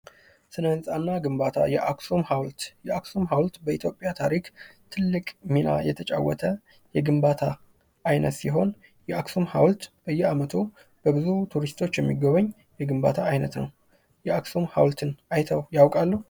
ስነ ህንጻና ግንባታ የአክሱም ሀውልት የአክሱም ሀውልት በኢትዮጵያ ታሪክ ትልቅ ሚና የተጫወተ የግንባታ አይነት ሲሆን የአክሱም ሀውልት በየአመቱ በብዙ በቱሪስቶች የሚጎበኝ የግንባታ አይነት ነው። የአክሱም ሀውልትን አይተው ያውቃሉ?